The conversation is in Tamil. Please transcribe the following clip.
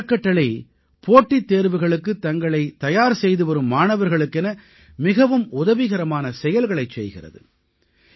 இந்த அறக்கட்டளை போட்டித் தேர்வுகளுக்குத் தங்களைத் தயார் செய்துவரும் மாணவர்களுக்கென மிகவும் உதவிகரமான செயல்களைச் செய்கிறது